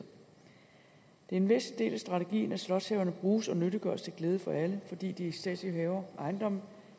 en væsentlig del af strategien at slotshaverne bruges og nyttiggøres til glæde for alle fordi de statslige haver og ejendomme